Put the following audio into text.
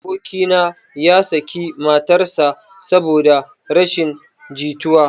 Aboki na ya saki matar sa saboda rashin jituwa